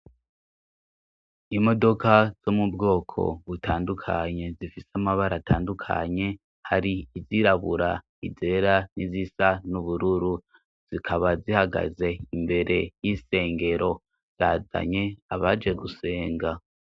Imodoka zo mu bwoko butandukanye zifise amabara atandukanye hari izirabura izera n'izisa n'ubururu zikaba zihagaze imbere y'isengero zazanye abaje gusenga.